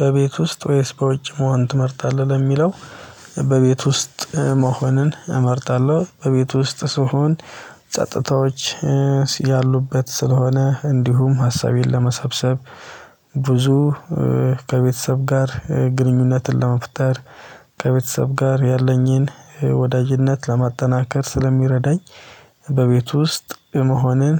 በቤት ውስጥ ወይስ በውጭ መሆን ትመርጣለህ? ለሚለው በቤት ውስጥ መሆን እመርታለሁ በቤቱ ውስጥ ስሆን ጸጥታዎች ያሉበት ስለሆነ እንዲሁም ሀሳቤን ለመሰብሰብ ብዙ ከቤተሰብ ጋር ግንኙነትን ለመፍጠር ከቤተሰብ ጋር ያለኝን ወዳጅነት ለማጠናከር ስለሚረዳኝ በቤት ውስጥ መሆንን